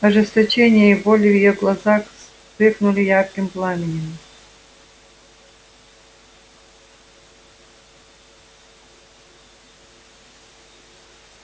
ожесточение и боль в её глазах вспыхнули ярким пламенем